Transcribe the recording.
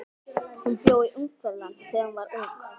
Hún bjó í Ungverjalandi þegar hún var ung.